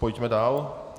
Pojďme dál.